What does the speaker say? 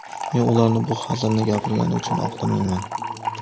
Men ularni bu hazilni gapirgani uchun oqlamayman.